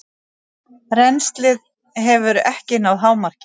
Rennslið hefur ekki náð hámarki.